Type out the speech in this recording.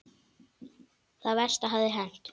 Það versta hafði hent.